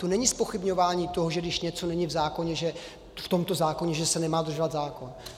To není zpochybňování toho, že když něco není v tomto zákoně, že se nemá dodržovat zákon.